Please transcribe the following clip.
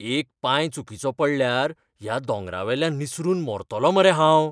एक पांय चुकिचो पडल्यार ह्या दोंगरावेल्यान निसरून मरतलो मरे हांव.